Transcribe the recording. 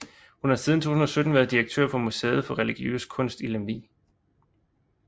Hun har siden 2017 været direktør for Museet for Religiøs Kunst i Lemvig